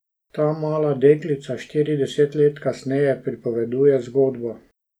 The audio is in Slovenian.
Ta mala deklica štirideset let kasneje pripoveduje zgodbo.